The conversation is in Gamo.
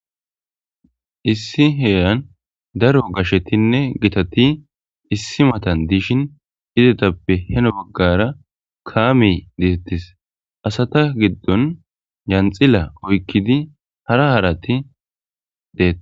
issi heeran daro gashshetinne gitati issi matan diishin izetappe heno gaggara kaami detettis asata giddon janxila oykkidi hara harati deet